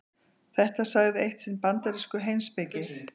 Þetta sagði eitt sinn bandarískur heimspekingur.